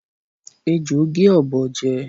Ejò gé ọ̀bọ jẹ